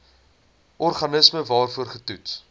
organisme waarvoor getoets